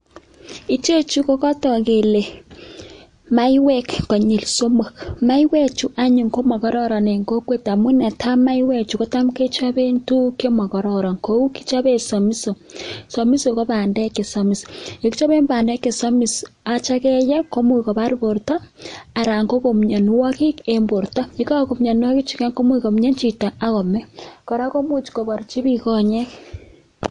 Ichechu kokotok kele maiwek konyil somok maiwechutok anyun komokororon eng kokwet amu netai maiwechu ketam kechobe tuguk chemokororon amu kechobe somiso somiso kobandek chesomis kichobe bandek chesomis atya keye komuch kobar borto anan koku mianwokik eng borto yekaku mianwokichu komianc hito akome kora kmuch koborchi bik konyek